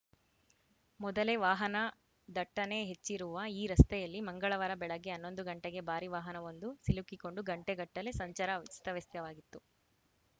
ಮೊದಲೇ ವಾಹನ ದಟ್ಟಣೆ ಹೆಚ್ಚಿರುವ ಈ ರಸ್ತೆಯಲ್ಲಿ ಮಂಗಳವಾರ ಬೆಳಗ್ಗೆ ಹನ್ನೊಂದು ಗಂಟೆಗೆ ಭಾರಿ ವಾಹನವೊಂದು ಸಿಲುಕಿಕೊಂಡು ಗಂಟೆಗಟ್ಟಲೆ ಸಂಚಾರ ಅಸ್ತವ್ಯಸ್ತವಾಗಿತ್ತು